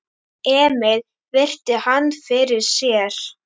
Emil virti hann fyrir sér.